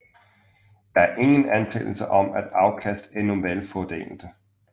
Der er ingen antagelse om at afkast er normalfordelte